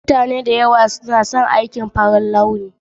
Mutane da yawa suna son aikin farar launi. Kunna tallafin mai karanta allo